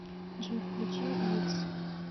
джой включи викс